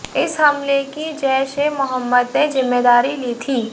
इस हमले की जैश ए मोहम्मद ने जिम्मेदारी ली थी